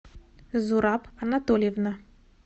зураб анатольевна